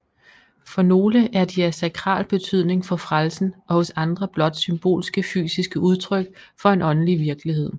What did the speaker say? For nogle er de af sakral betydning for frelsen og hos andre blot symbolske fysiske udtryk for en åndelig virkelighed